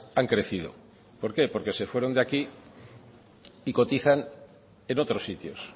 han crecido por qué porque se fueron de aquí y cotizan en otros sitios